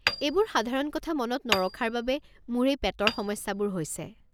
এইবোৰ সাধাৰণ কথা মনত নৰখাৰ বাবে মোৰ এই পেটৰ সমস্যাবোৰ হৈছে।